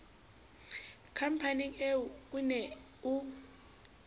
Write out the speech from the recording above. khampaneng ee o ne o